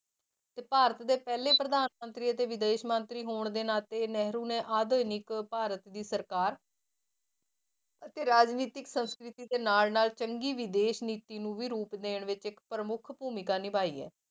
ਤੇ ਭਾਰਤ ਦੇ ਪਹਿਲੇ ਪ੍ਰਧਾਨ ਮੰਤਰੀ ਅਤੇ ਵਿਦੇਸ਼ ਮੰਤਰੀ ਹੋਣ ਦੇ ਨਾਤੇ ਨਹਿਰੂ ਨੇ ਆਧੁਨਿਕ ਭਾਰਤ ਦੀ ਸਰਕਾਰ ਅਤੇ ਰਾਜਨੀਤਿਕ ਸੰਸਕ੍ਰਿਤੀ ਦੇ ਨਾਲ ਨਾਲ ਚੰਗੀ ਵਿਦੇਸ਼ ਨੀਤੀ ਨੂੰ ਵੀ ਰੂਪ ਦੇਣ ਵਿੱਚ ਇੱਕ ਪ੍ਰਮੁੱਖ ਭੂਮਿਕਾ ਨਿਭਾਈ ਹੈ,